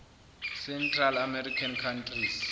central american countries